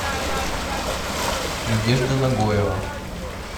надежда нагоева